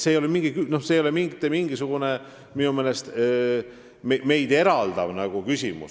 See ei ole minu meelest mitte mingisugune meid eraldav küsimus.